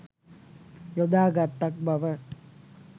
යොදා ගත්තක් බව